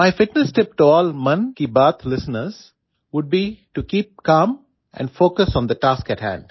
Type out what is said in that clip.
my fitness tip to all Mann Ki Baat listeners would be to keep calm and focus on the task ahead